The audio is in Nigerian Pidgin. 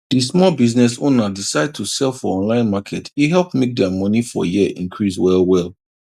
di small business owner decide to sell for online market e help make their money for year increase well well